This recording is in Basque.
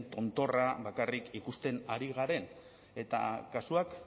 tontorra bakarrik ikusten ari garen eta kasuak